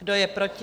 Kdo je proti?